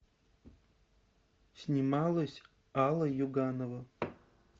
снималась алла юганова